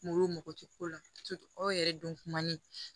Mɔgɔw mago tɛ ko la aw yɛrɛ don kuma ni